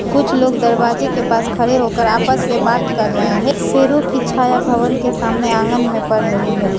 कुछ लोग दरवाजे के पास खड़े होकर आपस में बात कर रहे हैं पेड़ो की छाया भवन के सामने आंगन में पड़ रही है।